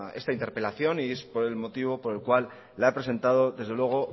esta interpelación y es por el motivo por el cual la he presentado desde luego